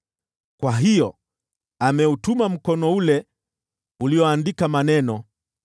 Kwa hiyo ameutuma mkono ule ulioandika maneno.